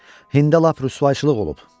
Hində lap rüsvayçılıq olub.